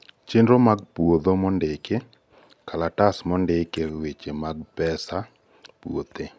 chenro mag puodho mondiki, kalatas mondike weche pesa mag puodho